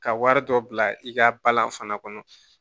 Ka wari dɔ bila i ka balan fana kɔnɔ